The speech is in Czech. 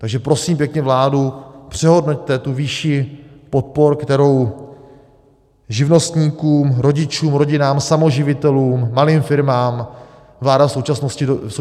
Takže prosím pěkně vládu: přehodnoťte tu výši podpor, kterou živnostníkům, rodičům, rodinám samoživitelů, malým firmám vláda v současné době nabízí.